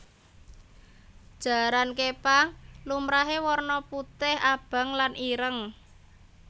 Jaran képang lumrahé warna putih abang lan ireng